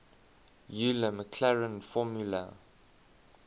euler maclaurin formula